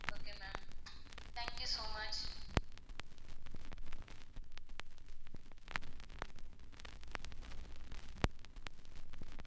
okay ma'am thank you so much